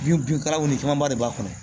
Binkalanw ni camanba de b'a kɔnɔ